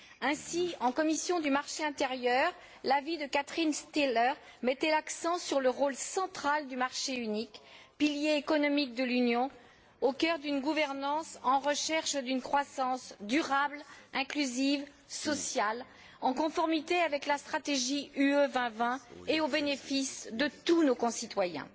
Ainsi, en commission du marché intérieur, l'avis de Catherine Stihler mettait l'accent sur le rôle central du marché unique, pilier économique de l'Union, au cœur d'une gouvernance en recherche d'une croissance durable, inclusive, sociale, en conformité avec la stratégie Europe 2020 et au bénéfice de tous nos concitoyens.